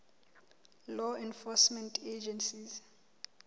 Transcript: law enforcement agencies